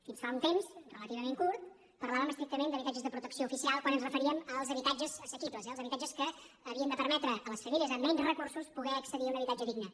fins fa un temps relativament curt parlàvem estrictament d’ habitatges de protecció oficial quan ens referíem als habitatges assequibles eh els habitatges que havien de permetre a les famílies amb menys recursos poder accedir a un habitatge digne